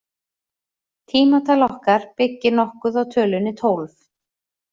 Tímatal okkar byggir nokkuð á tölunni tólf.